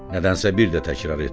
Nədənsə bir də təkrar etdi.